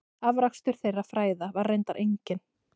Afrakstur þeirra fræða var reyndar enginn.